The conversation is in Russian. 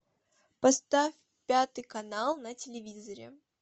поставь пятый канал на телевизоре